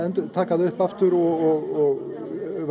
taka þetta mál upp aftur og